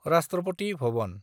राष्ट्रपति भबन